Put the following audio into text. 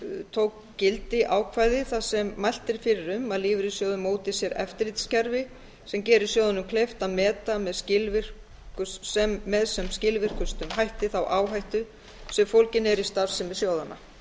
tók gildi ákvæði þar sem mælt er fyrir um að lífeyrissjóðir móti sér eftirlitskerfi sem gerir sjóðunum kleift að meta með sem skilvirkustum hætti þá áhættu sem fólgin er í starfsemi sjóðanna